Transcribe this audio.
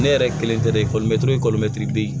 Ne yɛrɛ kelen tɛ dɛ bi